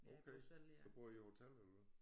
Okay så boede I hotel eller hvad